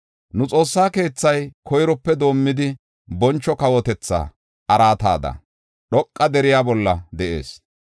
Nu Xoossa keethay koyrope doomidi, boncho kawotetha araatada dhoqa deriya bolla de7ees.